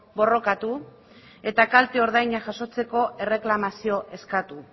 borrokatu eta kalte ordaina jasotzeko erreklamazioa eskatu